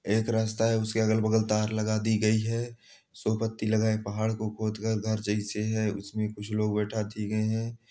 एक रस्ता है उस के अलग-बगल तार लगा दी गई है सो पत्ती लगा एक पहाड़ को खोद कर घर जैसे हैं उस में कुछ लोग बैठा दिए गए हैं।